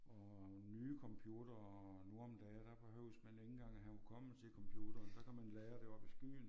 Og nye computere nu om dage der behøves man ikke engang have hukommelse i computeren der kan man lagre det oppe i skyen